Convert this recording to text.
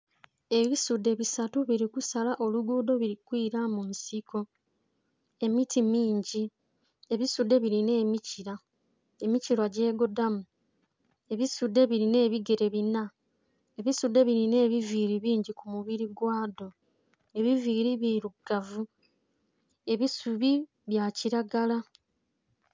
Ebisudhe bisatu bili kusala olugudho bili kwira munsiko emiti mingi ebisudhe bilinha emikila emikila gyegodhamu ebisudhe bilinha ebigere binna, ebisudhe bilinha ebiviri bingi ku mubiri gwadho ebiviri birugavu ebisubi bya kilagala.